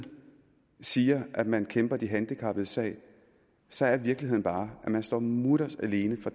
siger at man kæmper de handicappedes sag så er virkeligheden bare at man står mutters alene